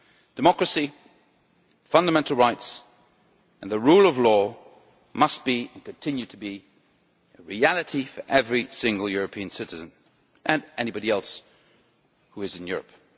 Democracy, fundamental rights and the rule of law must be, and continue to be, a reality for every single citizen and anybody else who is in Europe.